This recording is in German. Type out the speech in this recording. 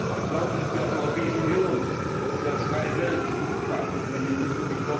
Ich glaube, dass wir als Europäische Union, dass wir als freie Welt diese Verantwortung übernehmen müssen.